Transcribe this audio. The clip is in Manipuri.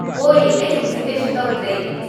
ꯑꯣꯏ, ꯑꯩ ꯍꯧꯖꯤꯛ ꯀꯩꯁꯨ ꯇꯧꯗ꯭ꯔꯦ꯫